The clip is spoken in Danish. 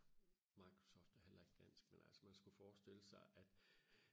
Microsoft er heller ikke dansk men altså man skulle forstille sig at